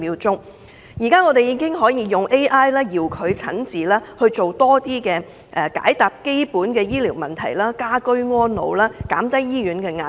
現時有 AI 可以作遙距診治，解答基本的醫療問題，讓市民可以居家安老，減低醫院的壓力。